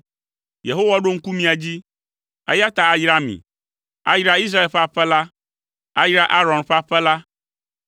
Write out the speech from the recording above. Yehowa ɖo ŋku mía dzi, eya ta ayra mí. Ayra Israel ƒe aƒe la, ayra Aron ƒe aƒe la,